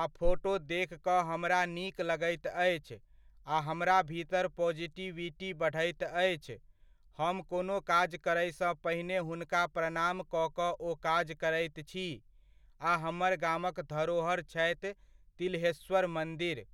आ फोटो देख कऽ हमरा नीक लगैत अछि आ हमरा भीतर पोजिटिविटी बढैत अछि, हम कोनो काज करयसँ पहिने हुनका प्रणाम कऽ कऽ ओ काज करैत छी, आ हमर गामक धरोहर छथि तिल्हेश्वर मन्दिर।